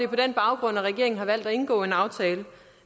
på den baggrund at regeringen har valgt at indgå en aftale